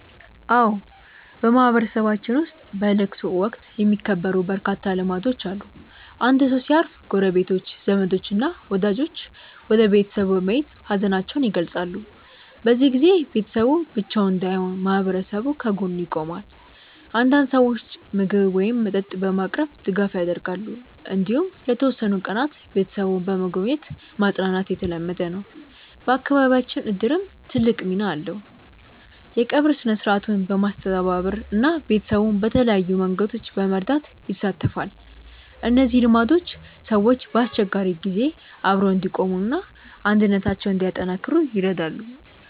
አዎ፣ በማህበረሰባችን ውስጥ በለቅሶ ወቅት የሚከበሩ በርካታ ልማዶች አሉ። አንድ ሰው ሲያርፍ ጎረቤቶች፣ ዘመዶች እና ወዳጆች ወደ ቤተሰቡ በመሄድ ሀዘናቸውን ይገልጻሉ። በዚህ ጊዜ ቤተሰቡ ብቻውን እንዳይሆን ማህበረሰቡ ከጎኑ ይቆማል። አንዳንድ ሰዎች ምግብ ወይም መጠጥ በማቅረብ ድጋፍ ያደርጋሉ። እንዲሁም ለተወሰኑ ቀናት ቤተሰቡን በመጎብኘት ማጽናናት የተለመደ ነው። በአካባቢያችን እድርም ትልቅ ሚና አለው፤ የቀብር ሥነ-ሥርዓቱን በማስተባበር እና ቤተሰቡን በተለያዩ መንገዶች በመርዳት ይሳተፋል። እነዚህ ልማዶች ሰዎች በአስቸጋሪ ጊዜ አብረው እንዲቆሙ እና አንድነታቸውን እንዲያጠናክሩ ይረዳሉ።